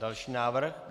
Další návrh.